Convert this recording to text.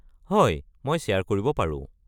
হয়, মই শ্বেয়াৰ কৰিব পাৰো।